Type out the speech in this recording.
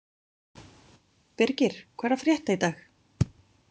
Birgir, hvað er að frétta í dag?